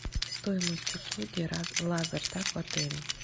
стоимость услуги лазертаг в отеле